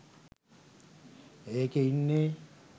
ඒකේ ඉන්නේ